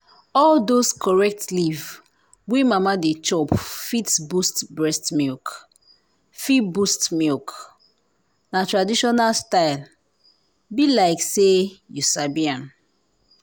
all those correct leaf wey mama dey chop fit boost milk. fit boost milk. na traditional style… be like say you sabi am.